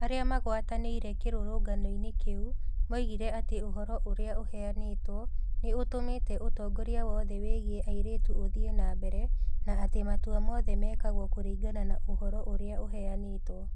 Arĩa magwatanĩire kĩrũrũngano-inĩ kĩu moigire atĩ ũhoro ũrĩa ũheanĩtwo nĩ ũtũmĩte ũtongoria wothe wĩgiĩ airĩtu ũthiĩ na mbere, na atĩ matua mothe mekagwo kũringana na ũhoro ũrĩa ũheanĩtwo.